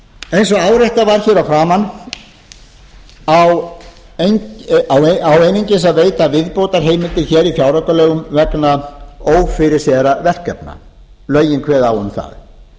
og áréttað var hér að framan á einungis að veita viðbótarheimildir hér í fjáraukalögum vegna ófyrirséðra verkefna lögin kveða á